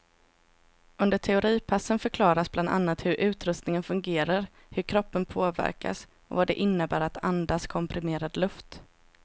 Under teoripassen förklaras bland annat hur utrustningen fungerar, hur kroppen påverkas och vad det innebär att andas komprimerad luft.